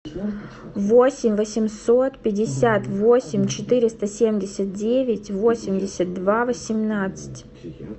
восемь восемьсот пятьдесят восемь четыреста семьдесят девять восемьдесят два восемнадцать